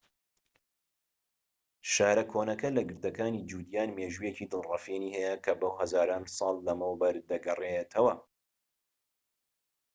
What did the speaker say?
شارە کۆنەکە لە گردەکانی جودیان مێژوویەکی دڵفڕێنی هەیە کە بۆ هەزاران ساڵ لەمەوبەر دەگەڕێتەوە